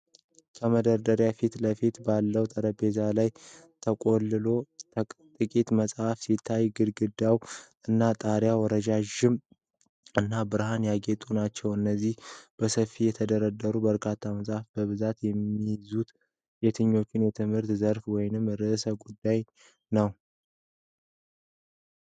ከመደርደሪያዎቹ ፊት ለፊት ባለው ጠረጴዛ ላይ የተቆለሉ ጥቂት መጽሐፎች ሲታዩ፣ ግድግዳዎቹ እና ጣሪያው ረጅም እና በብርሃን ያጌጡ ናቸው። እነዚህ በሰፊው የተደረደሩት በርካታ መጽሐፎች በብዛት የሚይዙት የትኞቹን የትምህርት ዘርፎች ወይም ርዕሰ ጉዳዮች ነው?